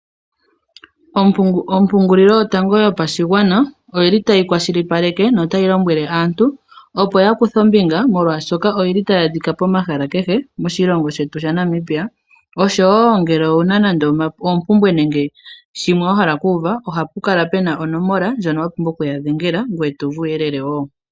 Ompungulilo yotango yopashigwana oyili tayi kwashilipaleke notayi lombwele aantu opo ya kuthe ombinga molwaashoka oyili tayi adhika pomahala kehe moshilongo shetu shaNamibia, oshowo ngele owuna nande oompumbwe nenge shimwe wa hala okuuva ohapu kala onomola ndjono wa pumbwa okuya dhengela ngoye to uvu uuyelele wo.